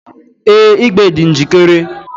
Ee, igbe dị njikere